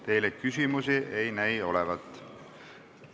Teile küsimusi ei näi olevat.